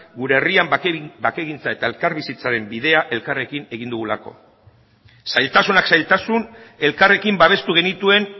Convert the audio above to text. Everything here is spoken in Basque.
gure herrian bakegintza eta elkarbizitzaren bidea elkarrekin egin dugulako zailtasunak zailtasun elkarrekin babestu genituen